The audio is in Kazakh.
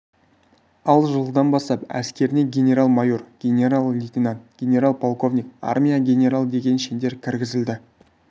ал жылдан бастап әскеріне генерал-майор генерал-лейтенант генерал-полковник армия генералы деген шендер кіргізілді